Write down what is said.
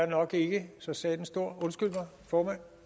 nok ikke er så satans stor undskyld mig formand